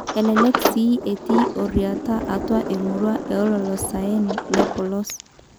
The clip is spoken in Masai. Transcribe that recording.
Elelek sii etii oryiata atua emurua e olosaen le polos.